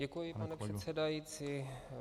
Děkuji, pane předsedající.